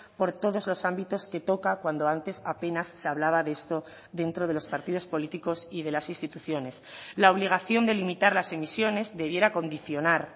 por todos los ámbitos que toca cuando antes apenas se hablaba de esto dentro de los partidos políticos y de las instituciones la obligación de limitar las emisiones debiera condicionar